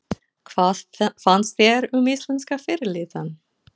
Hvað fannst þér um íslenska fyrirliðann?